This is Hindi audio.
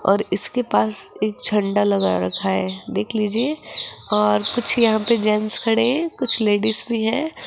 और इसके पास एक झंडा लगा रखा है देख लीजिए और कुछ यहां पे कुछ जेंट्स खड़े हैं कुछ लेडिस भी हैं।